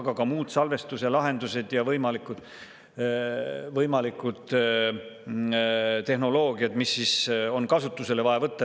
Aga ka muud salvestuse lahendused ja võimalikud tehnoloogiad, mis on kasutusele vaja võtta.